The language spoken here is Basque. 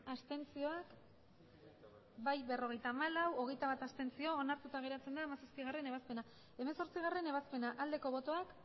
abstenzioak emandako botoak hirurogeita hamabost bai berrogeita hamalau abstentzioak hogeita bat onartuta geratzen da hamazazpigarrena ebazpena hemezortzigarrena ebazpena aldeko botoak